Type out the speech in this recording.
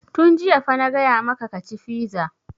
Tun jiya fa na gaya maka ka ci fiza!